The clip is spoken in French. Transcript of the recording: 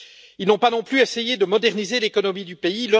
Ils n'ont pas non plus essayé de moderniser l'économie du pays.